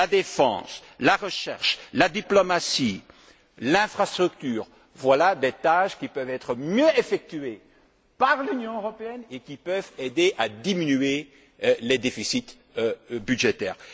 La défense, la recherche, la diplomatie, l'infrastructure, voilà des tâches qui peuvent être mieux effectuées par l'Union européenne et qui peuvent aider à diminuer les déficits budgétaires.